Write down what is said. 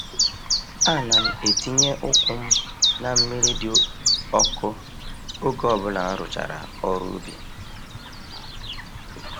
Ana m etinye ụkwụ m na mmiri dị ọkụ oge ọbụla m rụchara ọrụ n’ubi.